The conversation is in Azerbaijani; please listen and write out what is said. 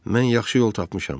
Mən yaxşı yol tapmışam.